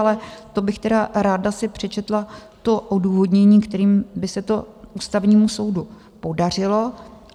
Ale to bych tedy ráda si přečetla to odůvodnění, kterým by se to Ústavnímu soudu podařilo.